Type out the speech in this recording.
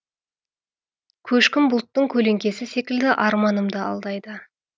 көшкін бұлттың көлеңкесі секілді арманым да алдайды